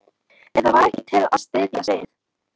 En það var ekkert til að styðjast við.